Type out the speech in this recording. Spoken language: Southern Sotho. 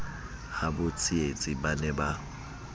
habo tsietsi ba ne ba